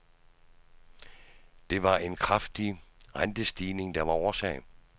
Det var en kraftig rentestigning, der var årsag.